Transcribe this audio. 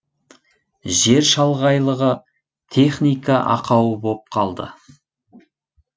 жер шалғайлығы техника ақауы боп қалды